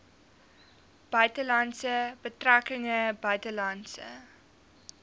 buitelandse betrekkinge buitelandse